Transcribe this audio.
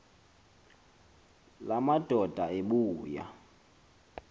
la madoda ebuya